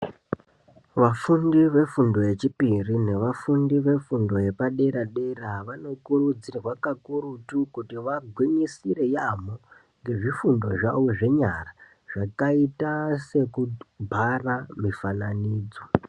Vafundi yefundo yechipiri nevafundi vefundo yepadera dera, vanokurudzirwa kakurutu kuti vangwinyisire yaampho, ngezvifundo zvavo zvenyara, zvakaita sekubhara mufananidzo.